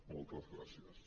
moltes gràcies